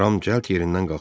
Ram cəld yerindən qalxdı.